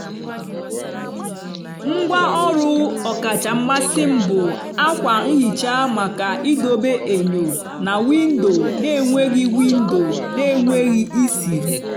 ngwá ọrụ ọkacha mmasị m bụ ákwà nhicha maka idobe enyo na windo na-enweghị windo na-enweghị isiri.